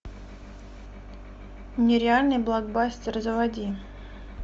нереальный блокбастер заводи